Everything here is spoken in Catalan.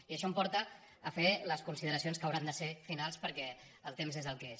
i això em porta a fer les consideracions que hauran de ser finals per·què el temps és el que és